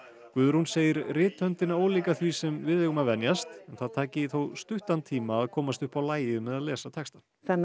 Guðrún segir ólíka því sem við eigum að venjast það taki þó stuttan tíma að komast upp á lagið með að lesa textann